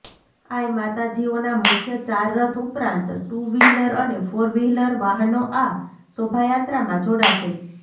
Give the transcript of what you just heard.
I માતાજીઓના મુખ્ય ચાર રથ ઉપરાંત ટુ વ્હીલર અને ફોર વ્હીલર વાહનો આ શોભાયાત્રામાં જોડાશે